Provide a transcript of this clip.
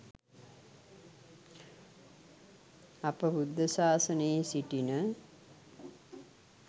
අප බුද්ධ සාසනයේ සිටින